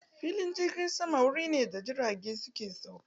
Filin jirgin sama wuri ne da jirage ke sauka.